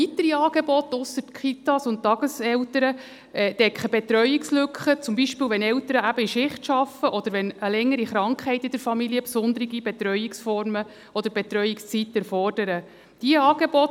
Neben den Kitas und den Tageseltern decken diese weiteren Angebote Betreuungslücken ab, die entstehen, wenn Eltern zum Beispiel eben in Schicht arbeiten oder wenn eine längere Krankheit in der Familie besondere Betreuungsformen oder Betreuungszeiten erfordert.